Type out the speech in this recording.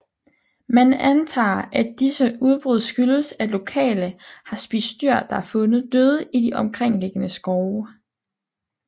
Man antager at disse udbrud skyldes at lokale har spist dyr der er fundet døde i de omkringliggende skove